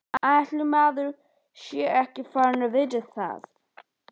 Ætli maður sé ekki farinn að vita það.